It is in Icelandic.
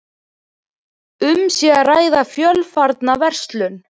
Um sé að ræða fjölfarna verslun